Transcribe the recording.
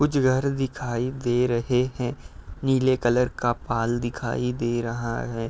कुछ घर दिखाई दे रहे हैं। नीले कलर का पाल दिखाई दे रहा है।